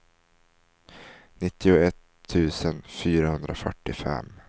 nittioett tusen fyrahundrafyrtiofem